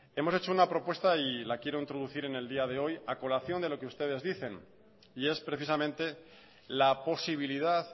hemos hecho una propuesta y la quiero introducir en el día de hoy a colación de lo que ustedes dicen y es precisamente la posibilidad